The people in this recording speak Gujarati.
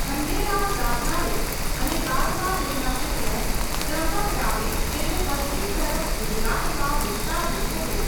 ખંડેરાવ દાભાડે અને બાદમાં તેમના પુત્ર ત્ર્યંબકરાવે તેને પશ્ચિમ તરફ ગુજરાતમાં વિસ્તાર્યું હતું.